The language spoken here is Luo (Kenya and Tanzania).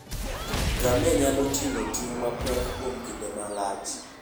Ngamia nyalo ting'o ting' mapek kuom kinde malach.